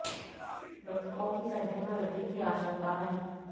मृतकों की संख्या में वृद्धि की आशंका है